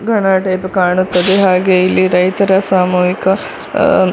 type ಕಾಣುತ್ತದೆ ಹಾಗೆಯೇ ಇಲ್ಲಿ ರೈತರ ಸಾಮೂಹಿಕ ಅಹ್ --